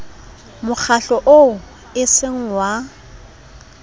mokgatlo oo e seng wa